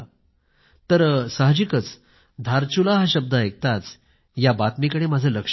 तर साहजिकच धारचुला हा शब्द ऐकताच या बातमीकडे माझं लक्ष गेले